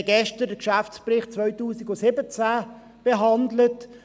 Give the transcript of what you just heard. Wir haben gestern den Geschäftsbericht 2017 behandelt.